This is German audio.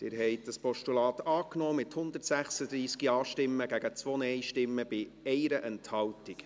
Sie haben das Postulat angenommen, mit 136 Ja- gegen 2 Nein-Stimmen bei 1 Enthaltung.